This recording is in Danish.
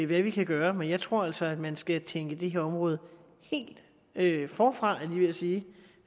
hvad vi kan gøre men jeg tror altså at man skal tænke det her område helt forfra var ved at sige